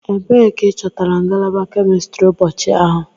Ebee ka ị chọtara ngalaba kemistri ụbọchị ahụ?